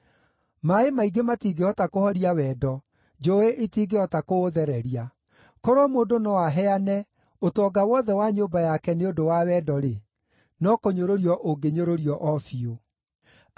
Maaĩ maingĩ matingĩhota kũhoria wendo; njũũĩ itingĩhota kũũthereria. Korwo mũndũ no aheane ũtonga wothe wa nyũmba yake nĩ ũndũ wa wendo-rĩ, no kũnyũrũrio ũngĩnyũrũrio o biũ.